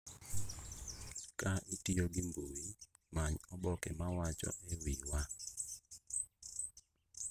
Ka itiyo gi mbui, many oboke ma wacho �e wiwa.�